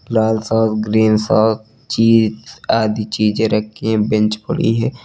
लाल सा ग्रीन सा चीज आदि चीजें रखी हैं बेंच पड़ी है।